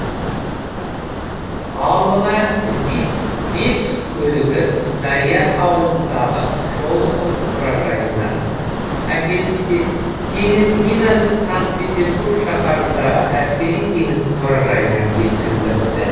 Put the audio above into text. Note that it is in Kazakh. ал мына зис бес көлігі дариян ауылындағы шолохов мұражайынан әкелінсе теңіз минасы санкт петербург шаһарындағы әскери теңіз мұражайынан жеткізіліпті